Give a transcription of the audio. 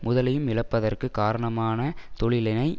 முதலையும் இழப்பதற்கு காரணமான தொழிலினை